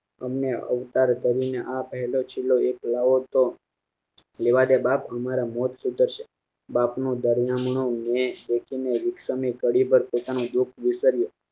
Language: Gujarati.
અને અવતાર ધરી ને આ પહેલો શીલો એક લાવોતો રેવાદે બાપ મારા મોટ સુધરશે બાપ નું દર નામનું મેં કડીભર પોતાનું દૂખ વિશરયું